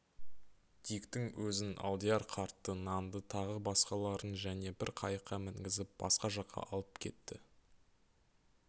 диктің өзін алдияр қартты нанды тағы басқаларын және бір қайыққа мінгізіп басқа жаққа алып кетті